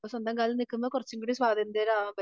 സ്വന്തം കാലിൽ നിക്കുമ്പോ കുറച്ചൂടെ സ്വാതന്ത്ര്യമാകാൻ പറ്റും.